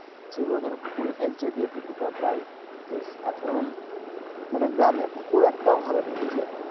সেগুলো ধরো পুকুরেই ফেলছে দিয়ে পুকুরটা প্রায় শেষ এখন মানে গ্রামে পুকুর একটাও ভালো নেই বুঝলে,